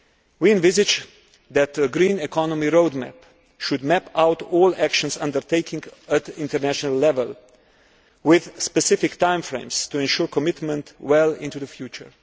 We envisage that a green economy roadmap should map out all actions undertaken at international level with specific time frames to ensure commitment well into the future.